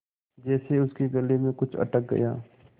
जैसे उसके गले में कुछ अटक गया